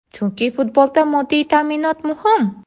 Chunki futbolda moddiy ta’minot muhim.